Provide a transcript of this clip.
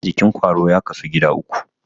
Jikin ƙwaro ya kasu gida uku.